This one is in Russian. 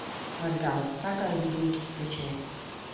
вальгалла сага о викинге включай